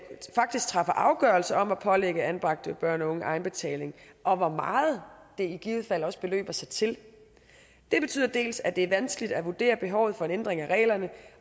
faktisk træffer afgørelse om at pålægge anbragte børn og unge egenbetaling og hvor meget det i givet fald også beløber sig til det betyder dels at det er vanskeligt at vurdere behovet for en ændring af reglerne